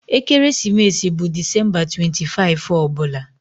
Ekeresimesi bụ Disemba 25 ọ bụla